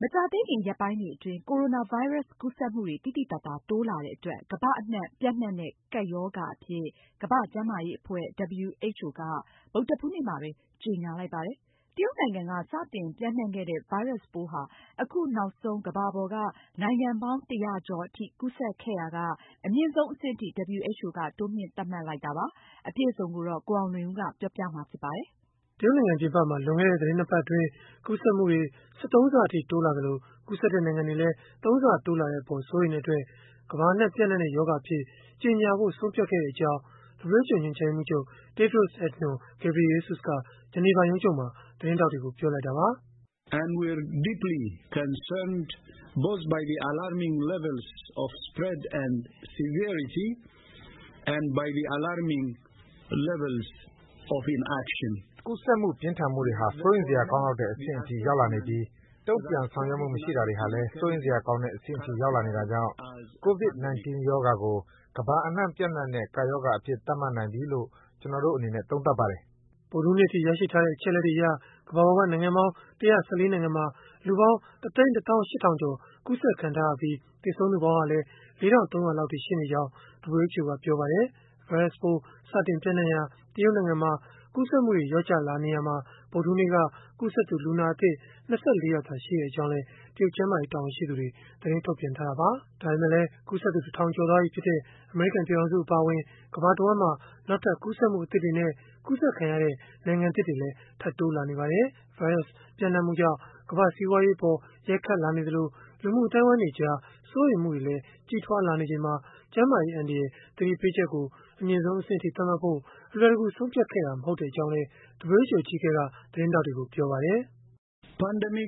မကြာသေးခင် ရက်ပိုင်းတွေအတွင်း ကိုရိုနာဗိုင်းရပ်စ် ကူးစက်မှုတွေ သိသိသာသာ တိုးလာတဲ့အတွက် ကမ္ဘာအနှံ့ ပျံ့နှံ့တဲ့ ကပ်ရောဂါအဖြစ် ကမ္ဘာ့ကျန်းမာရေးအဖွဲ့ (WHO) က ဗုဒ္ဓဟူးနေ့မှာပဲ ကြေညာလိုက်ပါတယ်။ တရုတ်နိုင်ငံက စတင်ပျံ့နှံ့ခဲ့တဲ့ ဗိုင်းရပ်စ်ပိုးဟာ အခုနောက်ဆုံး ကမ္ဘာပေါ်က နိုင်ငံပေါင်း ၁၀၀ ကျော်အထိ ကူးစက်ခဲ့ရာက အမြင့်ဆုံးအဆင့်အထိ WHO က တိုးမြှင့် သတ်မှတ်လိုက်တာပါ။ အပြည့်အစုံကိုတော့ ကိုအောင်လွင်ဦးက ပြောပြပေးမှာ ဖြစ်ပါတယ်။ တရုတ်နိုင်ငံ ပြင်ပမှာ လွန်ခဲ့တဲ့ သီတင်း ၂ ပတ်အတွင်း ကူးစက်မှုတွေ ၁၃ ဆအထိ တိုးလာသလို၊ ကူးစက်တဲ့ နိုင်ငံတွေလည်း ၃ ဆ တိုးလာတဲ့အပေါ် စိုးရိမ်တဲ့အတွက် ကမ္ဘာအနှံ့ ပျံ့နှံ့တဲ့ ရောဂါအဖြစ် ကြေညာဖို့ ဆုံးဖြတ်ခဲ့တဲ့အကြောင်း WHO ညွှန်ကြားရေးမှူးချုပ် Tedros Adhanom Ghebreyesus က Geneva ရုံးချုပ်မှာ သတင်းထောက်တွေကို ပြောလိုက်တာပါ။ “ကူးစက်မှုနဲ့ ပြင်းထန်မှုတွေဟာ စိုးရိမ်စရာကောင်းလောက်တဲ့ အဆင့်အထိ ရောက်လာနေပြီး၊ တုံ့ပြန်ဆောင်ရွက်မှု မရှိတာတွေဟာလည်း စိုးရိမ်စရာကောင်းတဲ့ အဆင့်အထိ ရောက်လာနေတာကြောင့်၊ COVID-19 ရောဂါကို ကမ္ဘာအနှံ့ ပျံ့နှံ့တဲ့ ကပ်ရောဂါအဖြစ် သတ်မှတ်နိုင်ပြီလို့ ကျနော်တို့ အနေနဲ့ သုံးသပ်ပါတယ်။” ဗုဒ္ဓဟူးနေ့အထိ ရရှိထားတဲ့ အချက်အလက်တွေအရ ကမ္ဘာပေါ်က နိုင်ငံပေါင်း ၁၁၄ နိုင်ငံမှာ လူပေါင်း ၁၁၈,၀၀၀ ကျော် ကူးစက်ခံထားရပြီး၊ သေဆုံးသူပေါင်းဟာလည်း ၄,၃၀၀ လောက်အထိ ရှိနေကြောင်းလည်း WHO ကပြောပါတယ်။ ဗိုင်းရပ်စ်ပိုး စတင်ပျံ့နှံ့ရာ တရုတ်နိုင်ငံမှာ ကူးစက်မှုတွေ လျော့ကျလာနေရာမှာ ဗုဒ္ဓဟူးနေ့က ကူးစက်သူ လူနာအသစ် ၂၄ ယောက်သာရှိကြောင်းလည်း တရုတ်ကျန်းမာရေး တာဝန်ရှိသူတွေက သတင်းထုတ်ပြန်ထားတာပါ။ ဒါပေမဲ့လည်း ကူးစက်သူ ၁,၀၀၀ ကျော်သွားပြီဖြစ်တဲ့ အမေရိကန် ပြည်ထောင်စု အပါအဝင် ကမ္ဘာတဝှမ်းမှာ နောက်ထပ် ကူးစက်မှု အသစ်တွေနဲ့ ကူးစက်ခံရတဲ့ နိုင်ငံသစ်တွေလည်း ထပ်တိုးလာနေပါတယ်။ ဗိုင်းရပ်စ် ပျံ့နံှ့မှုကြောင့် ကမ္ဘာ့စီးပွားရေးအပေါ် ရိုက်ခတ်လာနေသလို၊ လူမှုအသိုင်းအဝိုင်းတွေကြား စိုးရိမ်မှုတွေလည်း ကြီးထွားလာနေချိန်မှာ ကျန်းမာရေးအန္တရာယ် သတိပေးချက်ကို အမြင့်ဆုံး အဆင့်အထိ သတ်မှတ်ဖို့ အလွယ်တကူ ဆုံးဖြတ်ခဲ့တာ မဟုတ်ကြောင်းလည်း WHO အကြီးအကဲက သတင်းထောက်တွေကို ပြောခဲ့တာပါ။ “ကမ္ဘာအနှံ့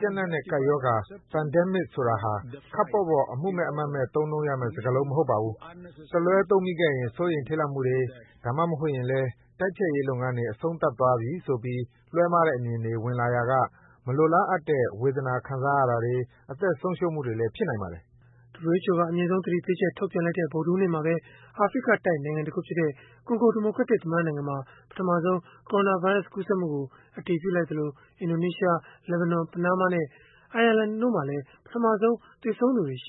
ပျံ့နှံ့တဲ့ ကပ်ရောဂါ (Pandemic) ဆိုတာဟာ ခပ်ပေါ့ပေါ့ အမှုမဲ့အမှတ်မဲ့ သုံးနှုန်းရမယ့် စကားလုံးမဟုတ်ပါဘူး။ တလွဲသုံးမိခဲ့ရင် စိုးရိမ်ထိတ်လန့်မှုတွေ၊ ဒါမှမဟုတ်ရင်လည်း တိုက်ဖျက်ရေး လုပ်ငန်းတွေ အဆုံးသတ်သွားပြီဆိုပြီး လွဲမှားတဲ့ အမြင်တွေ ဝင်လာရာက မလိုလားအပ်တဲ့ ဝေဒနာခံစားရတာတွေ၊ အသက်ဆုံးရှုံးမှုတွေလည်း ဖြစ်နိုင်ပါတယ်။” WHO က အမြင့်ဆုံး သတိပေးချက် ထုတ်ပြန်လိုက်တဲ့ ဗုဒ္ဓဟူးနေ့မှာပဲ အာဖရိကတိုက်နိုင်ငံတခုဖြစ်တဲ့ ကွန်ဂိုဒီမိုကရက်တစ် သမ္မတ နိုင်ငံမှာ ပထမဆုံး ကိုရိုနာဗိုင်းရပ်စ် ကူးစက်မှုကို အတည်ပြုလိုက်သလို၊ အင်ဒိုနီးရှား၊ လက်ဘနွမ်၊ ပနားမားနဲ့ အိုင်ယာလန်တို့မှာလည်း ပထမဆုံး သေဆုံးသူတွေ ရှ